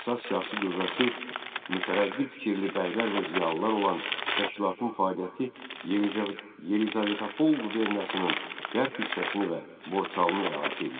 Əsas siyasi qüvvəsi mütərəqqi fikirli bəylər və ziyalılar olan təşkilatın fəaliyyəti Yelizavetapol quberniyasının qərb hissəsini və Borçalını əhatə eləyirdi.